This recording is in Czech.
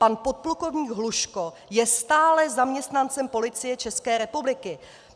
Pan podplukovník Hluško je stále zaměstnancem Policie České republiky.